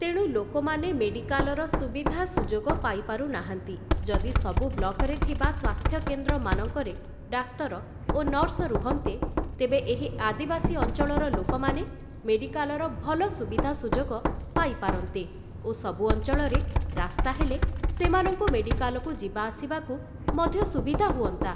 ତେଣୁ ଲୋକମାନେ ମେଡିକାଲର ସୁବିଧା ସୁଯୋଗ ପାଇପାରୁ ନାହାନ୍ତି, ଯଦି ସବୁ ବ୍ଲକରେ ଥିବା ସ୍ୱାସ୍ଥ୍ୟକେନ୍ଦ୍ରମାନଙ୍କରେ ଡାକ୍ତର ଓ ନର୍ସ ରୁହନ୍ତେ ତେବେ, ଏହି ଆଦିବାସୀ ଅଞ୍ଚଳର ଲୋକମାନେ ମେଡିକାଲର ଭଲ ସୁବିଧା ସୁଯୋଗ ପାଇପାରନ୍ତେ ଓ ସବୁ ଅଞ୍ଚଳରେ ରାସ୍ତା ହେଲେ, ସେମାନଙ୍କୁ ମେଡିକାଲକୁ ଯିବାଆସିବାକୁ ମଧ୍ୟ ସୁବିଧା ହୁଅନ୍ତା ।